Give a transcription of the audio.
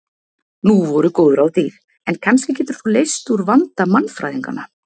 Nú voru góð ráð dýr en kannski getur þú leyst úr vanda mannfræðinganna.